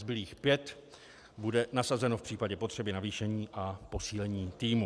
Zbylých pět bude nasazeno v případě potřeby navýšení a posílení týmu.